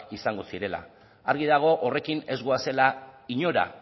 izango zirela argi dago horrekin ez goazela inora